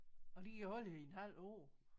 Og de kan holde i en halvt år